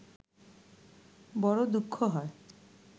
বড় দুঃখ হয়